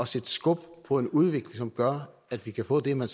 sætte skub på en udvikling som gør at vi kan få det man